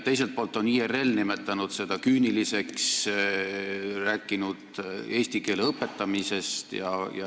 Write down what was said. Teiselt poolt on IRL nimetanud seda küüniliseks, rääkinud eesti keele õpetamisest.